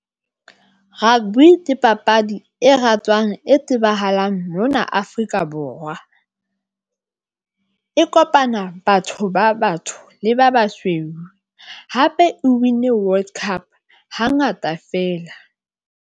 Rugby ke papadi e ratwang, e tsebahalang mona Afrika Borwa. E kopana batho ba batsho le ba basweu hape o win World Cup hangata feela.